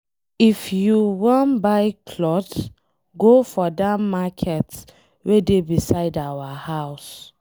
If you wan buy cloth go for dat market wey dey beside our house.